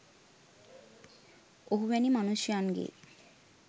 ඔහු වැනි මනුෂ්‍යයන්ගේ